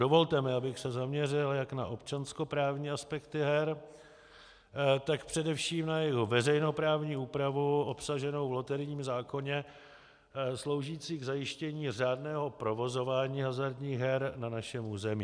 Dovolte mi, abych se zaměřil jak na občanskoprávní aspekty her, tak především na jejich veřejnoprávní úpravu obsaženou v loterijním zákoně, sloužící k zajištění řádného provozování hazardních her na našem území.